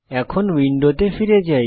এখন উইন্ডোতে ফিরে যাই